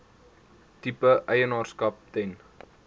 tipe eienaarskap ten